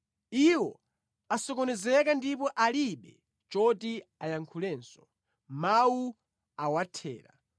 “Iwo asokonezeka ndipo alibe choti ayankhulenso; mawu awathera.